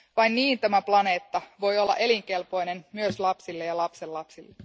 Vain niin tämä planeetta voi olla elinkelpoinen myös lapsille ja lapsenlapsille.